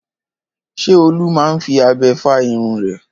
Ṣé Olú máa ń fi abẹ fá irun rẹ̀?